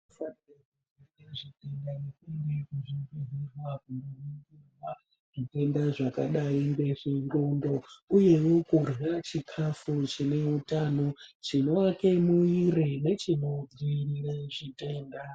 Sa ....kuende kuzvibhedhlera kundoningirwa zvitenda zvakadai ngezvendxondo uyezve kurye chikafu chine utano chinoake mwiri nechinodziirire zvitenda.